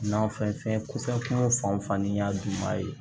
Nafɛn ko fɛn kun fan fan ni n y'a dun ma ye